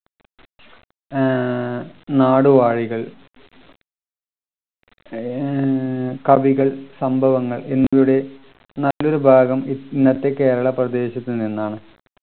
ഏർ നാടുവാഴികൾ ഏർ കവികൾ സംഭവങ്ങൾ എന്നിവയുടെ നല്ലൊരു ഭാഗം ഇന്നത്തെ കേരള പ്രദേശത്തു നിന്നാണ്